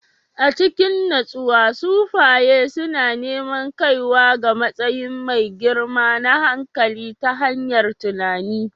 A cikin natsuwa, sufaye suna neman kaiwa ga matsayi mai girma na hankali ta hanyar tunani